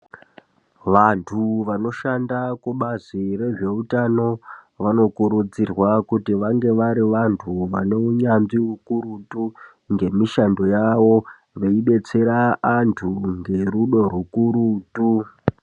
Vantu vanoshanda kubazi rezveutano vanokurudzirwa kuti vange vari vantu vane unyanzvi ukurutu ngemishando yavo veibetsera antu ngerudo rukurutu.